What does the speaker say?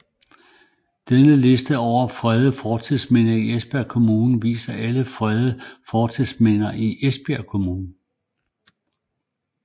Denne liste over fredede fortidsminder i Esbjerg Kommune viser alle fredede fortidsminder i Esbjerg Kommune